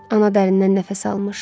ana dərindən nəfəs almış.